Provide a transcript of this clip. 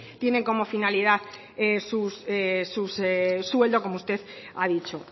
tienen como finalidad su sueldo como usted ha dicho